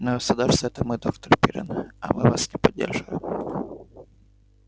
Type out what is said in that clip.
но государство это мы доктор пиренн а мы вас не поддерживаем